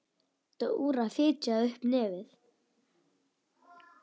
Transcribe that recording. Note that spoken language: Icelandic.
Dóra fitjaði upp á nefið.